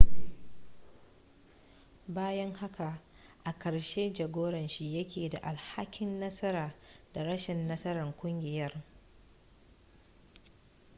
bayan haka a ƙarshe jagoran shi yake da alhakin nasara da rashin nasarar kungiyar